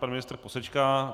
Pan ministr posečká.